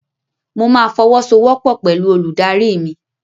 Mo ma fọwọ́sowọ́pọ̀ pẹ̀lú olùdarí mi.